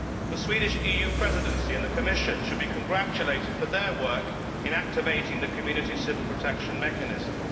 The Swedish EU Presidency and the Commission should be congratulated on their work in activating the Community Civil Protection Mechanism.